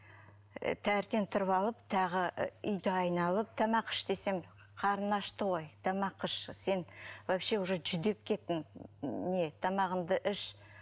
і таңертең тұрып алып тағы і үйді айналып тамақ іш десем қарны ашты ғой тамақ іш сен вообще уже жүдеп кеттің не тамағыңды іш